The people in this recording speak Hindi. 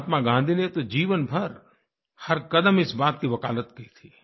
महात्मा गाँधी ने तो जीवन भर हर कदम इस बात की वकालत की थी